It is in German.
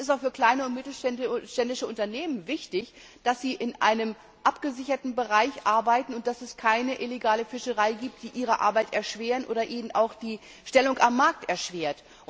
Und es ist auch für kleine und mittelständische Unternehmen wichtig, dass sie in einem abgesicherten Bereich arbeiten und dass es keine illegale Fischerei gibt, die ihnen ihre Arbeit oder auch die Stellung am Markt erschwert.